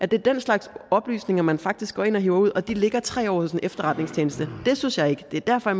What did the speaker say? det er den slags oplysninger man faktisk går ind og hiver ud og de ligger tre år i en efterretningstjeneste det synes jeg ikke og det er derfor